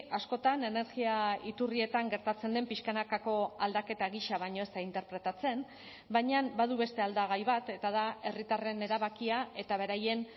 askotan energia iturrietan gertatzen den pixkanakako aldaketa gisa baino ez da interpretatzen baina badu beste aldagai bat eta da herritarren erabakia eta beraien